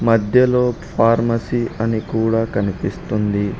మధ్యలో ఫార్మసీ అని కూడా కనిపిస్తుంది.